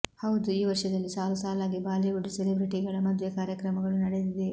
ಹೌದು ಈ ವರ್ಷದಲ್ಲಿ ಸಾಲು ಸಾಲಾಗಿ ಬಾಲಿವುಡ್ ಸೆಲೆಬ್ರಿಟಿಗಳ ಮದುವೆ ಕಾರ್ಯಕ್ರಮಗಳು ನಡೆದಿದೆ